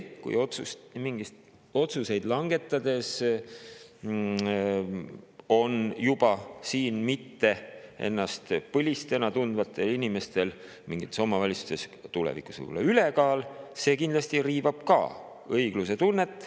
Kui mingisuguseid otsuseid langetades on siin ennast mittepõlisena tundvatel inimestel mingites omavalitsustes tulevikus juba ülekaal, siis see kindlasti riivab ka õiglustunnet.